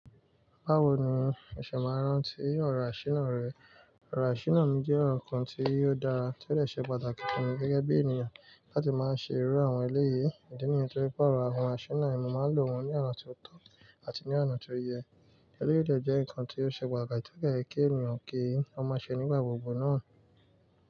Báwo ni ẹ̀ṣẹ̀ máa rántí ore asíná rẹ̀? Oro ṣíná mi jẹ́ ohun kan tí o dára tí ó dè ṣe pàtàkì fun mi gẹ́gẹ́ bí ènìyàn láti máa ṣe irú àwọn eléyii. Ìdí nìyí torí pé ọ̀rọ̀ àwọn aṣinà yen mo máa ń lò wọ́n ní oná ti o tọ́ àti ní oná tó yẹ. Eléyii de jẹ́ nǹkan tí ó ṣe pàtàkì tí ó yẹ kí ènìyàn kí ó máa ṣe nígbà gbogbo náà.